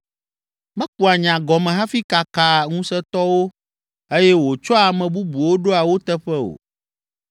Mekua nya gɔme hafi kakaa ŋusẽtɔwo, eye wòtsɔa ame bubuwo ɖoa wo teƒe o.